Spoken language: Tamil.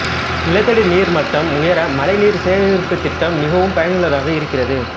நிலத்தடி நீர்மட்டம் உயர மழைநீர் சேகரிப்புத் திட்டம் மிகவும் பயனுள்ளதாக இருக்கிறது